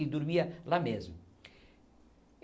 E dormia lá mesmo.